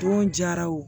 Don jara o